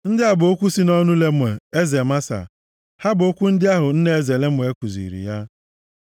Ndị a bụ okwu si nʼọnụ Lemuel, eze Masa. Ha bụ okwu ndị ahụ nne eze Lemuel kuziri ya.